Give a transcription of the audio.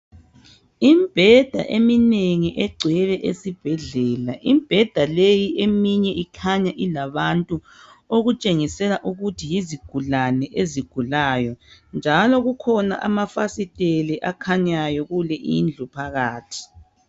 Imibheda eminengi egcwele esibhedlela, imbheda leyi eminye ikhanya ilabantu . Okutshengisela ukuthi yizigulane ezigulayo ,njalo kukhona amafasiteli ekhanyayo kule indlu phakathi.